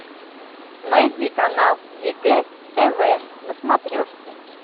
найди канал егэ тв на смотрешке